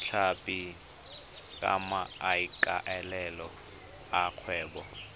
tlhapi ka maikaelelo a kgwebo